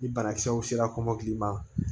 Ni banakisɛw sera kɔmɔkili ma